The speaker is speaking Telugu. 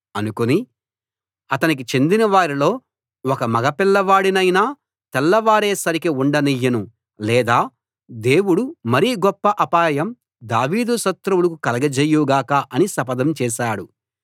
అనుకుని అతనికి చెందిన వారిలో ఒక మగపిల్లవాడి నైనా తెల్లవారే సరికి ఉండయ్యను లేదా దేవుడు మరి గొప్ప అపాయం దావీదు శత్రువులకు కలుగజేయుగాక అని శపథం చేశాడు